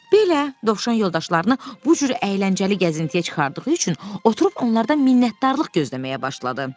Belə, Dovşan yoldaşlarını bu cür əyləncəli gəzintiyə çıxardığı üçün oturub onlardan minnətdarlıq gözləməyə başladı.